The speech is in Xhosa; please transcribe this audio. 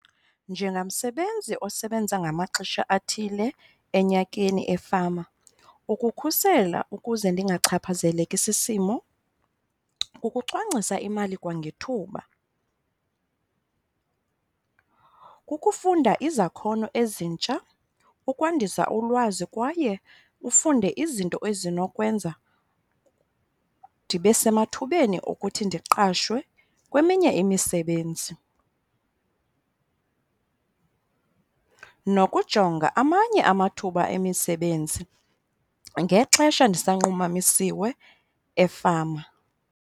Njengamsebenzi osebenza ngamaxesha athile enyakeni efama, ukukhusela ukuze ndingachaphazeleki sisimo kukucwangcisa imali kwangethuba. Kukufunda izakhono ezintsha, kukwandisa ulwazi kwaye ufunde izinto ezinokwenza ndibe semathubeni okuthi ndiqashwe kweminye imisebenzi nokujonga amanye amathuba emisebenzi ngexesha ndisanqumamisiwe efama.